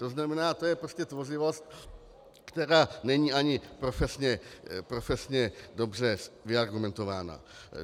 To znamená, to je prostě tvořivost, která není ani profesně dobře vyargumentována.